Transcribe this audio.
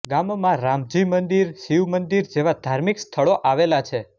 ગામમાં રામજી મંદિર શિવ મંદિર જેવા ધાર્મિક સ્થળો આવેલા છે